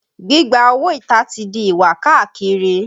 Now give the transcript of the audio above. Gbígba owó ìta ti di ìwà káàkiri